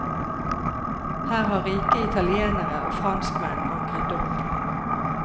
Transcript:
Her har rike italienere og franskmenn ankret opp.